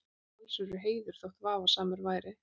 Talsverður heiður, þótt vafasamur væri.